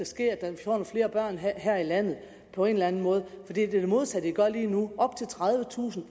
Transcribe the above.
skal have nogle flere børn her i landet på en eller anden måde for det er det modsatte i gør lige nu op til tredivetusind